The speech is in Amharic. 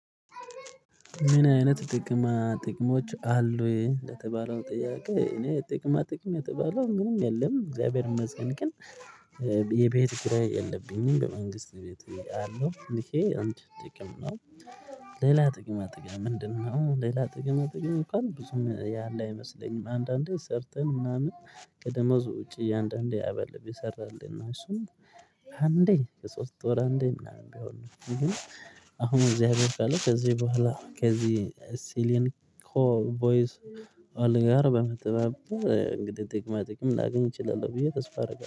ምን አይነት ጥቅማ ጥቅሞች አሉ የተባለው ጥያቄ እኔ ጥቅማ ጥቅም የተባለው ምንም የለም እግዚአብሔር መጽንቅን የቤት ክራይ የለብኝም በመንግስት ቤት እያለሁ እንዴ አንድ ጥቅም ነው። ሌላ ጥቅም አጥቅም ምንድነው? ሌላ ጥቅም አጥቅም እኮ ነው ብዙም ያለ አይመስለኝም። አንዳንዴ ሰርተን ምናምን ቀደመው ውጪ እያንዳንዱ ያበልብ የሰራልን እና እሱም። እንዴ ከሶስት ወር እንዴ ምናምን ቢሆን ነው ይሄ። አሁን እግዚአብሔር ታለ ከዚህ በኋላ ከዚህ ሲሊን ኮይስ። አለ ጋር በመጠበብ እንግዲህ ጥቅማ ጥቅም ላገኝ እችላለሁ ብዬ ተስፋ አደርጋለሁ